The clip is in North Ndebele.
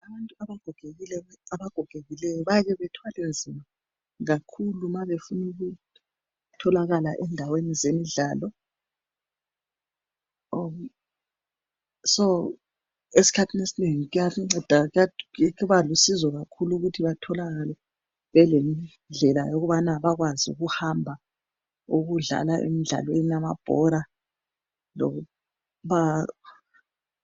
Abantu abagogekileyoo babethwale nzama kakhulu ma befuna ukutholakala endaweni zemidlalo. Ngakho esikhathinì esinengi kubalusizo kakhulu ukuthi batholakale belendlela zokuhamba bakwazi ukuhamba emidlalweni yamabhora.